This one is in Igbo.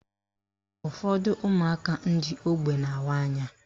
Ụfọdụ ụmụaka ndị ógbè na-awa anya